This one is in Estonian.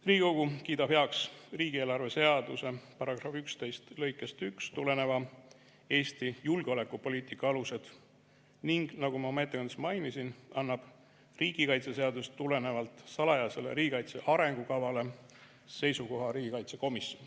Riigikogu kiidab heaks riigieelarve seaduse § 11 lõikest 1 tulenevad Eesti julgeolekupoliitika alused ning, nagu ma oma ettekandes mainisin, annab riigikaitseseadusest tulenevalt salajasele riigikaitse arengukavale seisukoha riigikaitsekomisjon.